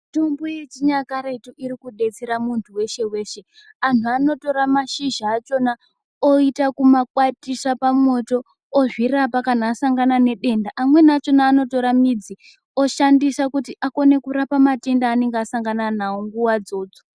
Mitombo yechinyakaretu iri kudetsera munthu weshe weshe, anhu anotora mashizha achona oita kumakwatisa pamoto ozvirapa kana asangana nedenda amweni achona anotora midzi oshandisa kuti akone kurapa matenda aanenge asangana nawo nguwa dzodzo.